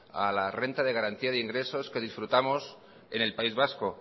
a la renta de garantía de ingresos que disfrutamos en el país vasco